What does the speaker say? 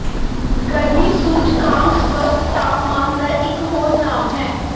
ਗਰਮੀ ਸੂਚਕਾਂਕ ਸਪੱਸ਼ਟ ਤਾਪਮਾਨ ਦਾ ਇਕ ਹੋਰ ਨਾਮ ਹੈ